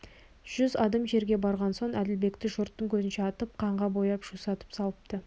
жүз адым жерге барған соң әділбекті жұрттың көзінше атып қанға бояп жусатып салыпты